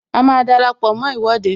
A máa dara pọ mó Ìwọ́de